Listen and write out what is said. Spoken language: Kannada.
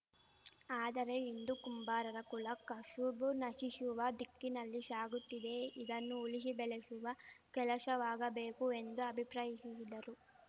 ಆದರೆ ಇಂದು ಕುಂಬಾರರ ಕುಲ ಕಶುಬು ನಶಿಶುವ ದಿಕ್ಕಿನಲ್ಲಿ ಶಾಗುತ್ತಿದೆ ಇದನ್ನು ಉಳಿಶಿ ಬೆಳೆಶುವ ಕೆಲಶವಾಗಬೇಕು ಎಂದು ಅಭಿಪ್ರಾಯಿಶಿದರು